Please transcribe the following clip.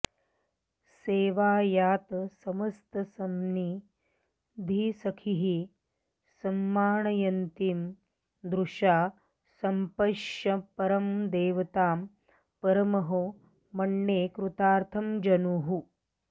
सेवायातसमस्तसंनिधिसखीः संमानयन्तीं दृशा सम्पश्यन्परदेवतां परमहो मन्ये कृतार्थं जनुः